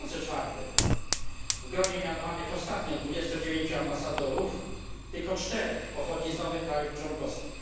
2004. W gronie mianowanych ostatnio 29 ambasadorów tylko 4 pochodzi z nowych krajów członkowskich.